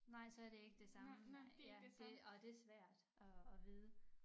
Nej så det ikke det samme nej ja det og det svært at at vide